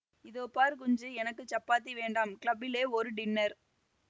இதோ பார் குஞ்சு எனக்கு சப்பாத்தி வேண்டாம் கிளப்பிலே ஒரு டின்னர்